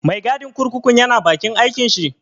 Mai gadin kurkukun ya na bakin aikin shi?